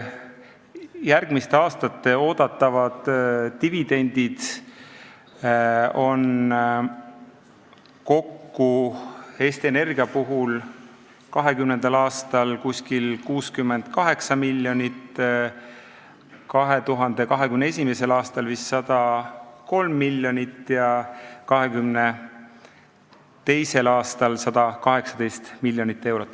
Järgmiste aastate oodatavad dividendid on Eesti Energia puhul 2020. aastal umbes 68 miljonit, 2021. aastal vist 103 miljonit ja 2022. aastal 118 miljonit eurot.